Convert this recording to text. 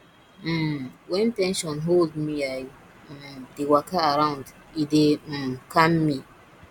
um wen ten sion hold mei um dey waka around e dey um calm me